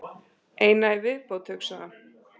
Eina í viðbót, hugsaði hann.